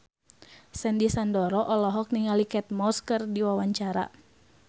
Sandy Sandoro olohok ningali Kate Moss keur diwawancara